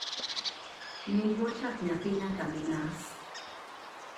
nying mochak nyathi nyaka mi nas